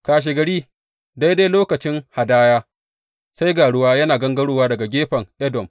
Kashegari, daidai lokacin hadaya, sai ga ruwa yana gangarowa daga gefen Edom!